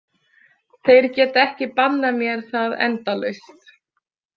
Þeir geta ekki bannað mér það endalaust.